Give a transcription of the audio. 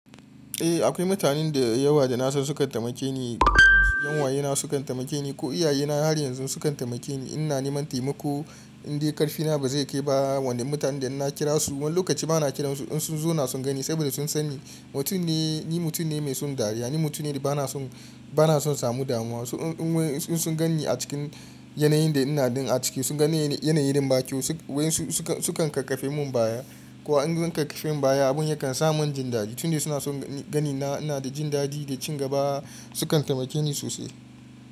Eh akwai mutanen da yawa da nasan sukan taimake ni, 'yan uwayena sukan taimake ni ko iyayena har yanzu sukan taimake ni in na neman taimako. Indai karfina ba zai kai ba wanda mutanen da ina kira su wani lokaci ba na kiran su in sun zo na sun gani saboda sun san ni mutum ne mai son dariya, ni mutum ne da ba na son na samu damuwa. In sun ganni a cikin yanayin da ina a ciki sun ganni yanayi irin ba kyau waƴansu kan kakkafen mun baya. Ko an kakkafen mun baya abun ya kan sa mun jin dadi tun dai suna son ganina ina da jin dadi da ci gaba sukan taimake ni sosai.